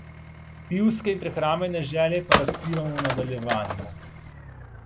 Pivske in prehrambene želje pa razkrivamo v nadaljevanju.